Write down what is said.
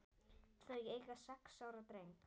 Þau eiga sex ára dreng